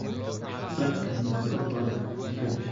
Dharka miiska u qaad jikada